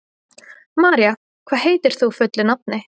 María, hvað heitir þú fullu nafni?